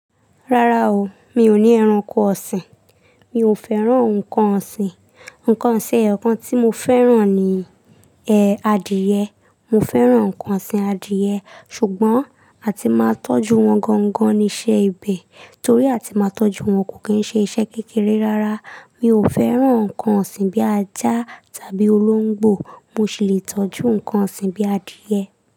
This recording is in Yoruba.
Rárá o, mi ò ní ẹranko ọ̀sìn. Mi ò fẹ́ràn ǹkan ọ̀sìn. Ǹkan ṣin eyokan tí mo fẹ́ràn ni ẹ adìẹ. Mo fẹ́ràn ǹkan ọ̀sìn adìẹ ṣùgbọ́n a ti máa tọ́jú wọn gangan níṣe ibẹ̀ torí a ti máa tọ́jú wọn kò kí ń ṣe iṣẹ́ kékeré rárá. Mi ò fẹ́ràn ǹkan ọ̀sìn bíi ajá tàbí olóńgbò. Mo sì lè tọ́jú ǹkan ọ̀sìn bíi adìẹ.